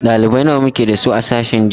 Ɗalibai nawa muke da su a sashen jinya?